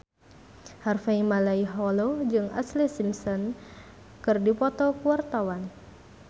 Harvey Malaiholo jeung Ashlee Simpson keur dipoto ku wartawan